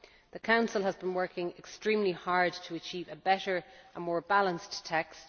The Council has been working extremely hard to achieve a better and more balanced text.